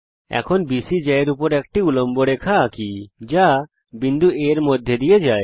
এখন বিসি জ্যা এর উপর একটি উল্লম্ব রেখা আঁকি যা বিন্দু A এর মধ্যে দিয়ে যায়